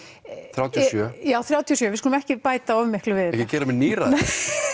þrjátíu og sjö já þrjátíu og sjö við skulum ekki bæta of miklu við ekki gera mig níræðan nei